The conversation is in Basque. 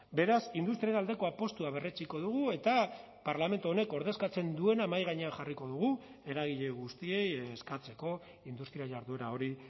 beraz industriaren aldeko apustua berretsiko dugu eta parlamentu honek ordezkatzen duena mahai gainean jarriko dugu eragile guztiei eskatzeko industria jarduera hori